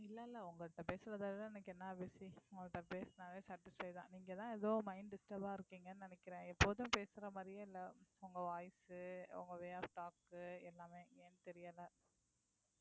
இல்ல இல்ல உங்க கிட்ட பேசுறதாலதான் எனக்கு என்ன busy உங்க கிட்ட பேசுனாவே satisfy தான் நீங்கதான் ஏதோ mind disturb ஆ இருக்கீங்கன்னு நினைக்கிறேன் எப்போதும் பேசுற மாதிரியே இல்லை உங்க voice உ உங்க way off talk உ எல்லாமே ஏன்னு தெரியலே